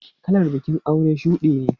Kalar bikin aure shudi ne.